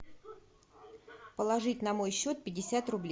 положить на мой счет пятьдесят рублей